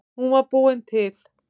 Hún var búin til.